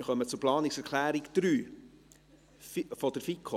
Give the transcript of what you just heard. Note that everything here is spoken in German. Dann kommen wir zu Planungserklärung 3 der FiKo.